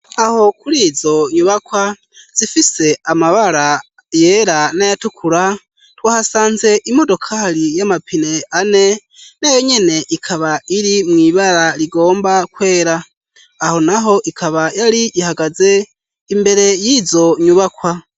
Aho kurizo nyubakwa zifise amabara yea na yatukura twahasanze imodokari y'amapine ane nayo nyene ikaba iri mw'ibara rigomba kwera aho naho ikaba yar'ihagaze, imbele y'izo nyubakwa.